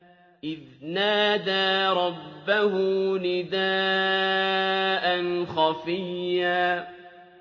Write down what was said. إِذْ نَادَىٰ رَبَّهُ نِدَاءً خَفِيًّا